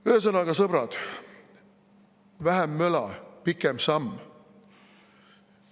Ühesõnaga, sõbrad, vähem möla, pikem samm.